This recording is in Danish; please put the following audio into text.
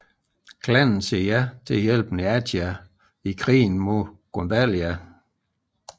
Klanen siger ja til at hjælpe Neathia i krigen mod Gundalia